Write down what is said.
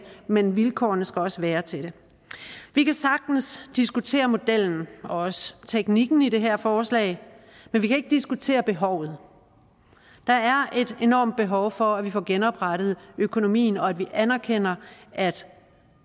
men vilkårene skal også være til det vi kan sagtens diskutere modellen og også teknikken i det her forslag men vi kan ikke diskutere behovet der er et enormt behov for at vi får genoprettet økonomien og at vi anerkender at